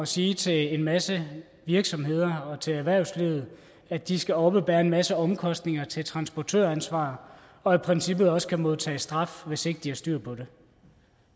sige til en masse virksomheder og til erhvervslivet at de skal oppebære en masse omkostninger til transportøransvar og i princippet også kan modtage straf hvis ikke de har styr på